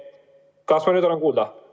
Kas ma nüüd olen kuulda?